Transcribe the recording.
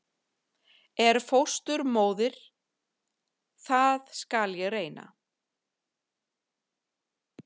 En fósturmóðir- það skal ég reyna.